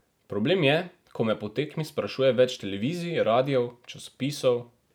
Problem je, ko me po tekmi sprašuje več televizij, radijev, časopisov...